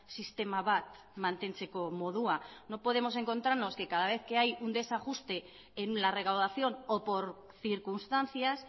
sistema bat mantentzeko modua no podemos encontrarnos que cada vez que hay un desajuste en la recaudación o por circunstancias